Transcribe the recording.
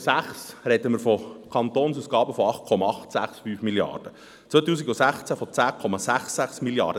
2006 sprechen wir von Kantonausgaben von 8,865 Mrd. Franken, 2016 von 10,66 Mrd. Franken.